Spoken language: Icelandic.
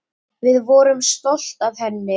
Við vorum stolt af henni.